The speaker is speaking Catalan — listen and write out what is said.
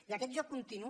i aquest joc continu